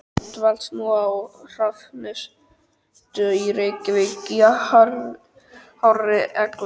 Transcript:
Hann dvelst nú á Hrafnistu í Reykjavík í hárri elli.